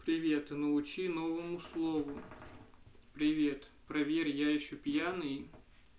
привет и научи новому слову привет проверь я ещё пьяный